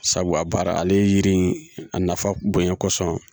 Sabu a baara ale ye yiri in a nafa bonya kosɔn